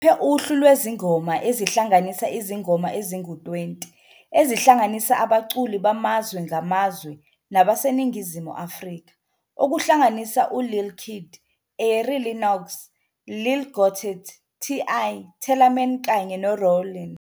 Ukhiphe uhlu lwezingoma ezihlanganisa izingoma ezingu-20 ezihlanganisa abaculi bamazwe ngamazwe nabaseNingizimu Afrika, okuhlanganisa uLil Keed, Ari Lennox, Lil Gotit, TI, Tellaman kanye noRowlene.